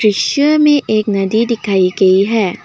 दिश्य में एक नदी दिखाई गई है।